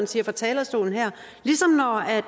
siger fra talerstolen